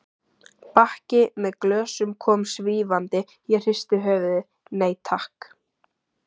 Bakki með glösum kom svífandi, ég hristi höfuðið, nei takk.